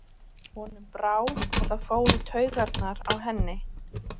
Honum brá, og það fór í taugarnar á henni.